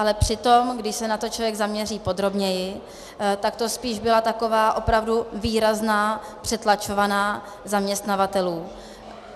Ale přitom když se na to člověk zaměří podrobněji, tak to spíš byla taková opravdu výrazná přetlačovaná zaměstnavatelů.